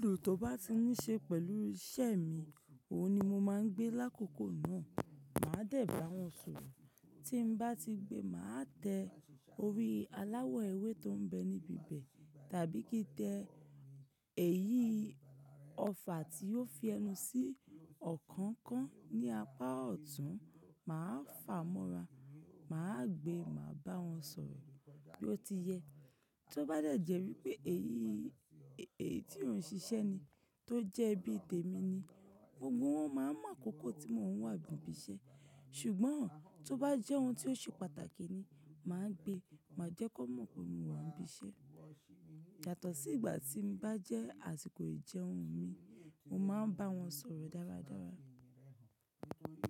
Ibùdó tó bá ti níí ṣe pẹ̀lú iṣẹ́ mi, òun ni mo máa ń gbé lákòókò náà. Máa dẹ̀ bá wọn sọ̀rọ̀. Tí n bá ti gbe, màá tẹ orí aláwọ̀ ewé tó ń bẹ níbi bẹ̀, tàbí kí tẹ èyí ọfà tí yóò fi ẹnu sí ọkọ̀ kan ní apá ọ̀tún, màá fà mọ́ra, màá gbe, màá bá wọn sọ̀rọ̀ bí ó ti yẹ. Tí ó bá dẹ̀ jẹ́ wípé èyí èyí tí òun ń ṣiṣẹ́ ni, tó jẹ́ bí tèmi ni, gbogbo wọn máa n mọ̀ akókó tí mò ń wà bí i bí i ṣe. Ṣùgbọ́n tí ó bá jẹ́ ohun tí ó ṣe pàtàkì ni, màá gbe, màá jẹ́ kan mọ̀ pé mo wà ń bí i ṣe. Yàtọ̀ sí ìgbà tí bá jẹ́ àsìkò ìjẹun mi, mo máa ń bá wọn sọ̀rọ̀ dáradára.